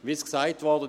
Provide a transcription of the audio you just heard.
Wie es gesagt wurde: